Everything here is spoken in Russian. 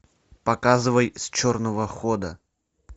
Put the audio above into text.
показывай с черного хода